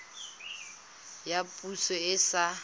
ya poso e e sa